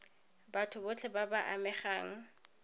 batho botlhe ba ba amegang